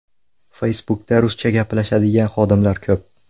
Facebook’da ruscha gaplashadigan xodimlar ko‘p.